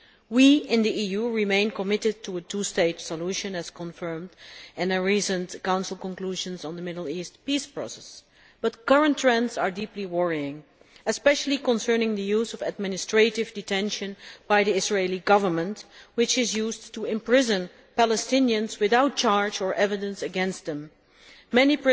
We in the EU remain committed to a two state solution, as confirmed in recent Council conclusions on the Middle East peace process. However, current trends are deeply worrying, especially concerning the use of administrative detention by the Israeli Government, which is used to imprison Palestinians without charge or evidence against them. Many